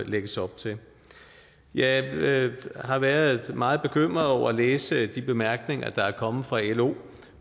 lægges op til jeg har været meget bekymret over at læse de bemærkninger der er kommet fra lo